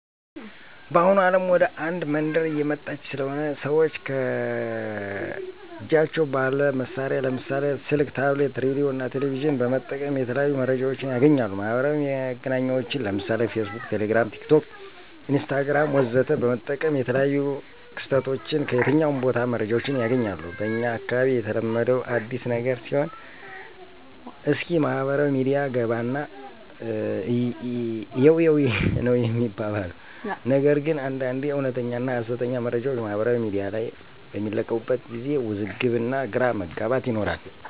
በአሁኑ አለም ወደ አንድ መንደር እየመጣች ስለሆነ ሰወች ከጃቸው ባለ መሳሪያ ለምሳሌ፦ ስልክ፣ ታብሌት፣ ሬዲዮ፣ እና ቴሌቬዥን በመጠቀም የተለያዩ መረጃወችን ያገኛሉ። ማህበራዊ መገናኛወችን ለምሳሌ፦ ፌስቡክ፣ ቴሌግራም፣ ቲክቶክ፣ ኢንስታግራም ወዘተ በመጠቀም የተለያዮ ክስተቶችን ከየትኛውም ቦታ መረጃወችን ያገኛሉ። በኛ አካባቢ የተለመደው አዲስ ነገር ሲኖር እስኪ ማህበራዊ ሚዲያ ገባና እየው እይው ነው ሚባባል ነገር ግን አንዳንዴ እወነተኛና ሀሰተኛ መረጃወች ማህበራዊ ሚዲያ ላይ በሚለቀቁበት ጊዜ ውዝግብ እና ግራ መጋባት ይኖራሉ።